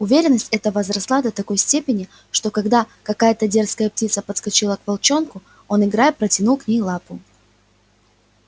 уверенность эта возросла до такой степени что когда какая то дерзкая птица подскочила к волчонку он играя протянул к ней лапу